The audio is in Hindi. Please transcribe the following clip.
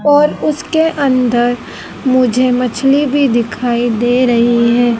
और उसके अंदर मुझे मछली भी दिखाई दे रही है।